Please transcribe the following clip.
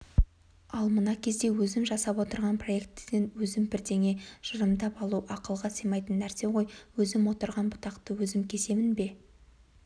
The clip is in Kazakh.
ал мына кезде өзім жасап отырған проектіден өзім бірдеңе жырымдап алу ақылға сыймайтын нәрсе ғой өзім отырған бұтақты өзім кесемін бе